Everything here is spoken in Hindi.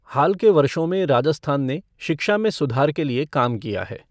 हाल के वर्षों में राजस्थान ने शिक्षा में सुधार के लिए काम किया है।